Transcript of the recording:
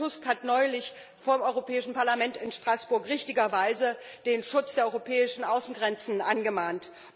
Tusk? Herr Tusk hat neulich vor dem Europäischen Parlament in Straßburg richtigerweise den Schutz der europäischen Außengrenzen angemahnt.